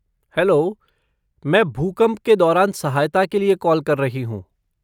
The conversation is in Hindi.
हैलो, मैं भूकंप के दौरान सहायता के लिए कॉल कर रही हूँ।